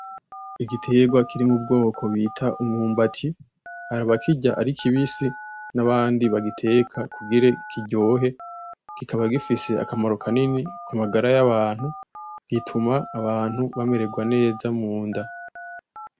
Igiterwa kiri mu bwoko bita umwumbati, hari abakirya ari kibisi n'abandi bagiteka kugira kiryohe, kikaba gifise akamaro kanini ku magara y'abantu. Gituma abantu bamererwa neza mu nda.